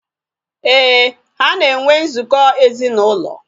Éè, ha na enwe nzukọ ezinaụlọ